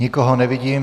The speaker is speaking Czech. Nikoho nevidím.